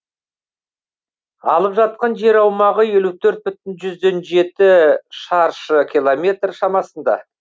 алып жатқан жер аумағы елу төрт бүтін жүзден жеті шаршы километр шамасында